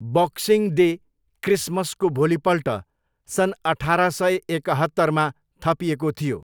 Boxing day, क्रिसमसको भोलिपल्ट, सन् अठार सय एकहत्तरमा थपिएको थियो।